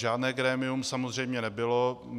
Žádné grémium samozřejmě nebylo.